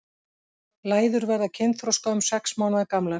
Læður verða kynþroska um sex mánaða gamlar.